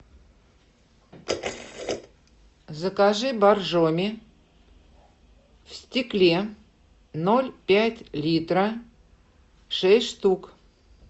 закажи боржоми в стекле ноль пять литра шесть штук